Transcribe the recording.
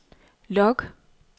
log